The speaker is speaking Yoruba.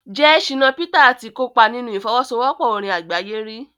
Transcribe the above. jẹ́ Shina Peters ti kópa nínú ìfọwọ́sowọ́pọ̀ orin àgbáyé rí?